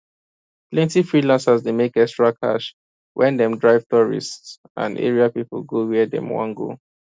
plenty freelancers dey make extra cash when dem drive tourists and area people go where dem wan go